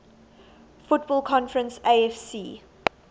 football conference afc